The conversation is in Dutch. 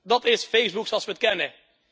Dat is Facebook zoals we het kennen.